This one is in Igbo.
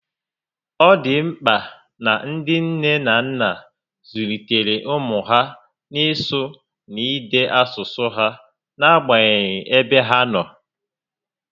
Ọ dị mkpa na ndị nne na nna zụlitere ụmụ ha n'isụ na n'ide asụsụ ha n'agbanyeghị ebe ha nọ